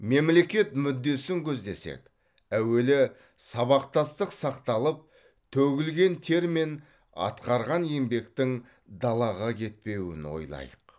мемлекет мүддесін көздесек әуелі сабақтастық сақталып төгілген тер мен атқарған еңбектің далаға кетпеуін ойлайық